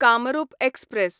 Kamrup express